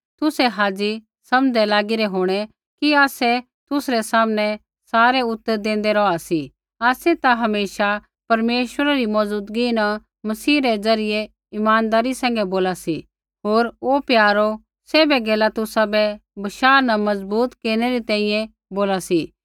तुसै हाज़ी समझ़दै लागी रै होंणै कि आसै तुसरै सामनै सारै उतर देंदै रौहा सी आसै ता हमेशा परमेश्वरा री मौज़ुदगी न मसीह द्वारा इमानदारी सैंघै बोला सी होर ओ प्यारो सैभै गैला तुसाबै बशाह न मज़बूत केरनै री तैंईंयैं बोला सी